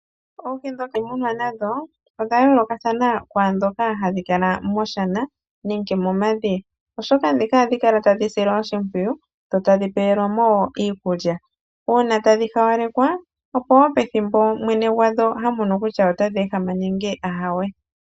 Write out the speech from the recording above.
Oohi dhokumunwa nadho, odha yoolokathana kwaandhoka hadhi kala moshana, nenge momadhiya, oshoka ndhika ohadhi kala tadhi silwa oshimpwiyu, dho tadhi pewelwa mo wo iikulya. Uuna tadhi haalekwa, opo wo pethimbo mwene gwadho ha mono kutya otadhi ehama nenge aawe.